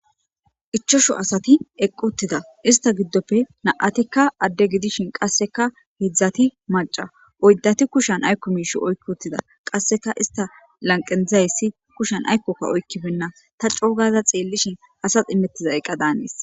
ichashu asati eqquttida ista giddoppe na7atikka adde gidishin qasseka hidzdzati maca oyddati kushan aykko miish oykki uttida qasseka ista lanqedzayssi kushan aykkokka oykkifenna ta coogaza xeellishin asas imettiza eqqa daanees